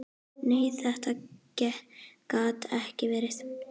Nei, þetta gat ekki verið.